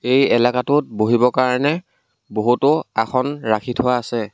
এই এলেকাটোত বহিবৰ কাৰণে বহুতো আসন ৰাখি থোৱা আছে।